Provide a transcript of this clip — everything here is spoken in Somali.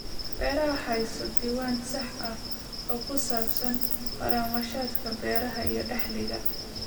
Beeraha Hayso diiwaan sax ah oo ku saabsan kharashaadka beeraha iyo dakhliga.